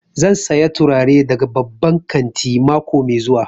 Zan saya turare daga babban kantin mako mai zuwa